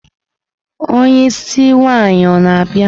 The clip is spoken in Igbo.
Onye isi nwaanyi ọ na-abịa?